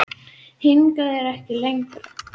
Hingað og ekki lengra